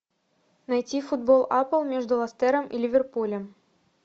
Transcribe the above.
найти футбол апл между лестером и ливерпулем